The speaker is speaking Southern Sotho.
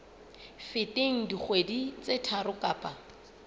feteng dikgwedi tse tharo kapa